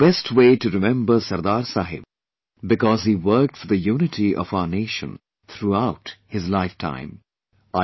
This is the best way to remember SardarSaheb, because he worked for the unity of our nation throughout his lifetime